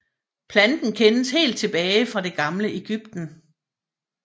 Planten kendes helt tilbage fra det gamle Egypten